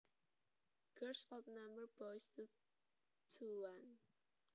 Girls outnumber boys two to one